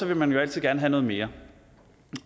vil man jo altid gerne have noget mere